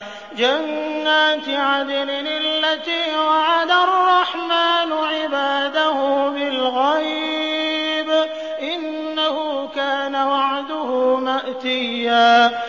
جَنَّاتِ عَدْنٍ الَّتِي وَعَدَ الرَّحْمَٰنُ عِبَادَهُ بِالْغَيْبِ ۚ إِنَّهُ كَانَ وَعْدُهُ مَأْتِيًّا